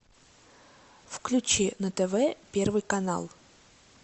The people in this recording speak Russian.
включи на тв первый канал